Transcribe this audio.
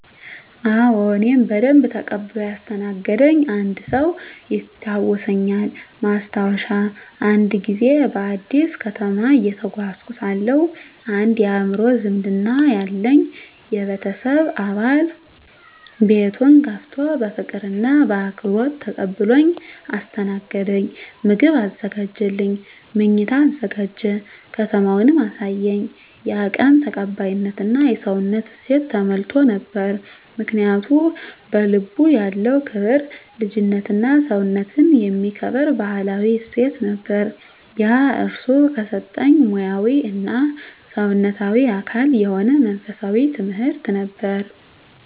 አዎ፣ እኔን በደንብ ተቀብሎ ያስተናገደኝ አንድ ሰው ያስታውሳልኝ። ማስታወሻ፦ አንድ ጊዜ በአዲስ ከተማ እየተጓዝኩ ሳለሁ አንድ የአእምሮ ዝምድና ያለኝ የቤተሰብ አባል ቤቱን ከፍቶ በፍቅር እና በአክብሮት ተቀብሎኝ አስተናገደኝ። ምግብ አዘጋጀልኝ፣ መኝታ አዘጋጀ፣ ከተማውንም አሳየኝ። ያ ቀን ተቀባይነት እና የሰውነት እሴት ተሞልቶ ነበር። ምክንያቱ? በልቡ ያለው ክብር፣ ልጅነትና ሰውነትን የሚከብር ባህላዊ እሴት ነበር። ያ እርሱ ከሰጠኝ ሙያዊ እና ሰውነታዊ አካል የሆነ መንፈሳዊ ትምህርት ነበር።